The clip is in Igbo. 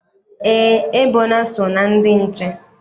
Eé, Ebona so na ndị nche.